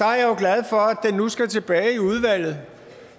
nu skal tilbage i udvalget